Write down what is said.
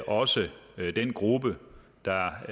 også den gruppe der